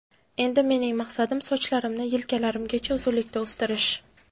Endi mening maqsadim sochlarimni yelkalarimgacha uzunlikda o‘stirish.